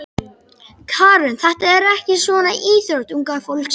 Karen: Þetta er ekki svona íþrótt unga fólksins?